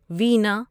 وینا